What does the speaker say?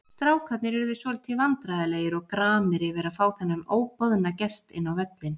Strákarnir urðu svolítið vandræðalegir og gramir yfir að fá þennan óboðna gest inn á völlinn.